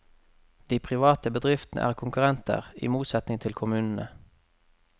De private bedriftene er konkurrenter, i motsetning til kommunene.